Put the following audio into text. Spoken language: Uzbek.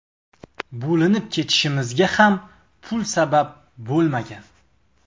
Bo‘linib ketishimizga ham pul sabab bo‘lmagan.